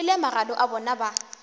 kwele magano a bona ba